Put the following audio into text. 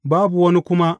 Babu wani kuma.